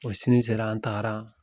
O sini sera an taara